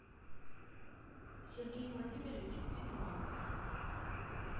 сергей владимирович федулов